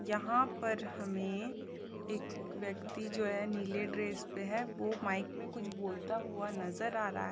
यहाँ पर हमें एक व्यक्ति जो है नीले ड्रेस पे है वो माइक में कुछ बोलता हुआ नजर आ रहा--